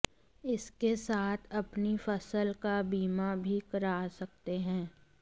इसके साथ अपनी फसल का बीमा भी करा सकते हैं